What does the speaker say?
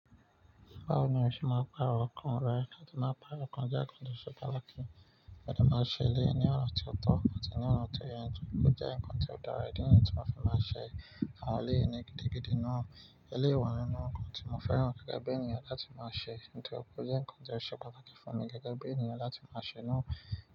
Báwo ni o ṣe máa pa àwọn kan rẹ, kí a tó máa pa àwọn kan jákàndò ṣubálù kí n tó máa ṣe ilé ní ọ̀nà tí ó tọ́ àti ní ọ̀nà tó yẹ, nítorí pé ó jẹ́ ǹkan tí ó dára, ìdí nìyí tí màá fi máa ṣe àwọn ilé yìí ni gidigidi náà. Ilé ìwẹ̀ nìnu nkan ni mo fẹ́ràn gẹ́gẹ́ bí ènìyàn láti máa ṣe, nítorí pé ó jẹ́ ǹkan tí oṣe pataki fún mi gẹ́gẹ́ bí ènìyàn láti máa ṣe náà.